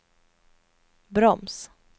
broms